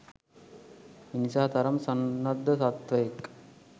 මිනිසා තරම් සන්නද්ධ සත්වයෙක්